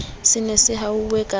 se ne se ahuwe ka